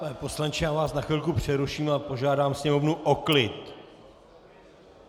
Pane poslanče, já vás na chvilku přeruším a požádám sněmovnu o klid.